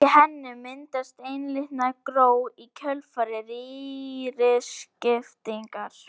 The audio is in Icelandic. Í henni myndast einlitna gró í kjölfar rýriskiptingar.